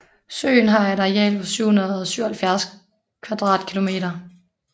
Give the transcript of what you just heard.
Søen har et areal på 777 km²